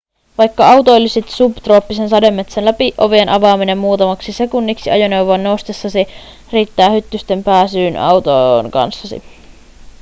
vaikka autoilisit subtrooppisen sademetsän läpi ovien avaaminen muutamaksi sekunniksi ajoneuvoon noustessasi riittää hyttysten pääsyyn autoon kanssasi